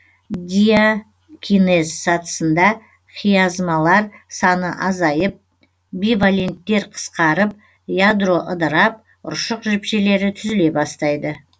диакинез сатысында хиазмалар саны азайып биваленттер қысқарып ядро ыдырап ұршық жіпшелері түзіле бастайды